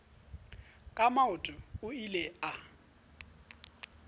ka maoto o ile a